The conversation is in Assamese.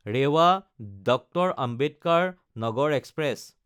ৰেৱা–ডিআৰ. আম্বেদকাৰ নাগাৰ এক্সপ্ৰেছ